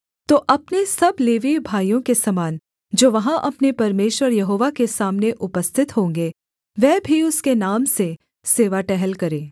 तो अपने सब लेवीय भाइयों के समान जो वहाँ अपने परमेश्वर यहोवा के सामने उपस्थित होंगे वह भी उसके नाम से सेवा टहल करे